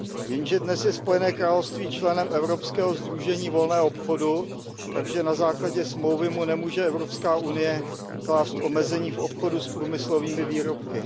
Jenže dnes je Spojené království členem Evropského sdružení volného obchodu, takže na základě Smlouvy mu nemůže EU klást omezení v obchodu s průmyslovými výrobky.